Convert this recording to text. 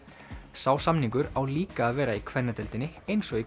sá samningur á líka að vera í kvennadeildinni eins og í